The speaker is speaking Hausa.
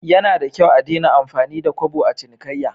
Yanada kyau a Dena amfani da Kobo a cinikayya?